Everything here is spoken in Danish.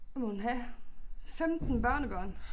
Hvad må hun have 15 børnebørn